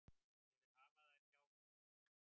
Ég vil hafa þær hjá mér.